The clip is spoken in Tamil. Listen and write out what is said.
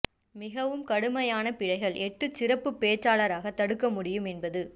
மிகவும் கடுமையான பிழைகள் எட்டு சிறப்புப் பேச்சாளராக தடுக்க முடியும் என்பது